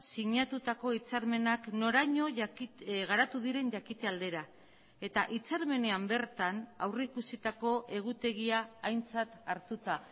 sinatutako hitzarmenak noraino garatu diren jakite aldera eta hitzarmenean bertan aurrikusitako egutegia aintzat hartuta